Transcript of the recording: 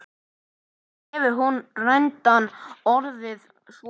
En hefur reyndin orðið svo?